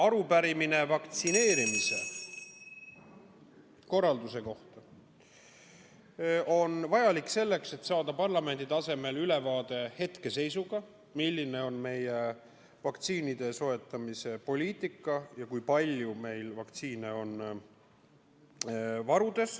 Arupärimine vaktsineerimise korralduse kohta on vajalik selleks, et saada parlamendi tasemel ülevaade hetkeseisust, milline on meie vaktsiinide soetamise poliitika ja kui palju meil varudes vaktsiine on.